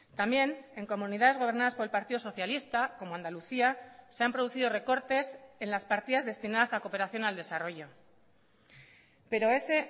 también en comunidades gobernadas por el partido socialista como andalucía se han producido recortes en las partidas destinadas a cooperación al desarrollo pero ese